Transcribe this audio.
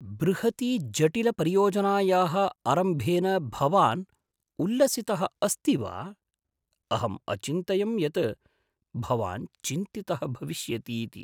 बृहतीजटिलपरियोजनायाः आरम्भेन भवान् उल्लसितः अस्ति वा? अहम् अचिन्तयं यत् भवान् चिन्तितः भविष्यतीति।